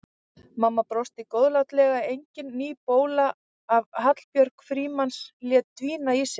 Mamma brosti góðlátlega, engin ný bóla að Hallbjörg Frímanns léti hvína í sér.